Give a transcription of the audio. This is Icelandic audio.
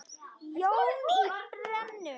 Jón í Brennu.